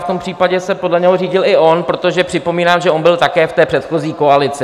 V tom případě se podle něho řídil i on, protože připomínám, že on byl také v té předchozí koalici.